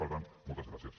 per tant moltes gràcies